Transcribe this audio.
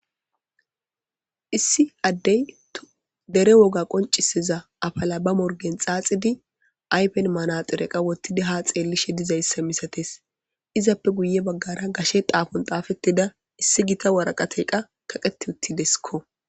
issi addey dere woga qonciseza afala ba morgen xaaxidi aypen manaxire qa wottidi ha xeellishe dizayssa misates izappe guye baggara gashe xaafon taafettida issi gita waraqate qa kaqeti uttidesikko